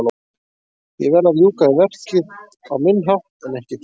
Ég verð að ljúka við verkið á minn hátt en ekki þinn.